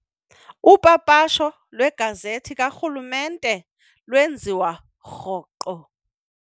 Upapasho lwegazethi karhulumrnte lwenziwa rhoqo.